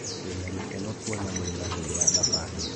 Ndĩ na gikeno kũona mũrima hĩndĩ ya thabarĩ